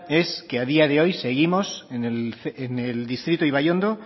es que a día de hoy seguimos en el distrito ibaiondo